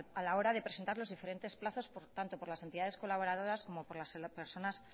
a la hora de presentar los diferentes plazos tanto por las entidades colaboradoras como por las personas